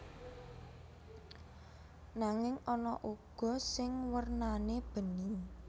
Nanging ana uga sing wernane bening